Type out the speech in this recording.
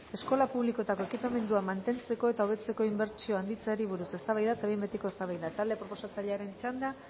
eskola publikoetako ekipamenduak mantentzeko eta hobetzeko inbertsioa handitzeari buruz eztabaida eta behin betiko ebazpena talde proposatzailearen txanda